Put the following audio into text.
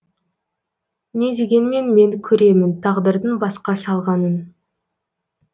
не дегенмен мен көремін тағдырдың басқа салғанын